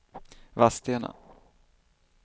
Vadstena